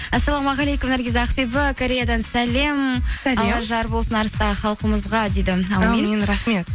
ассалаумағалейкум наргиз ақбибі кореядан сәлем жар болсын арыстағы халқымызға дейді рахмет